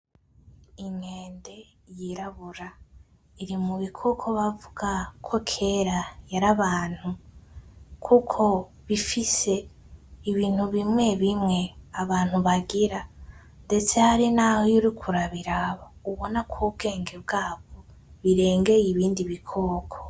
Ikende y’irambura iri mubikoko bavuga ko kera yari abantu, kuko bifise ibintu bimwe bimwe abantu bagira ndeste harinaho uriko urabiraba ubona yuko ubwenge bwayo biregeye ibindi bikoko.